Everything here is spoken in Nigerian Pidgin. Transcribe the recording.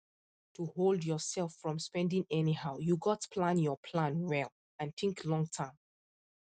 to hold yourself from spending anyhow you gats plan your plan well and think long term